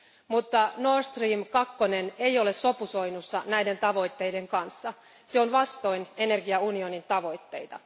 Mutta Nord Stream 2 ei ole sopusoinnussa näiden tavoitteiden kanssa. Se on vastoin energiaunionin tavoitteita.